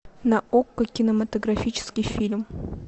на окко кинематографический фильм